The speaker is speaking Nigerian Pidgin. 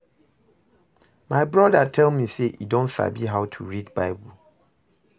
My broda tell me say e don sabi how to read bible